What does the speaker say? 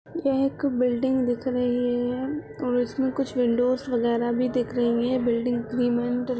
यह एक बिल्डिंग दिख रही है और उसमे कुछ विंडोस वगैरह भी दिख रही हैं बिल्डिंग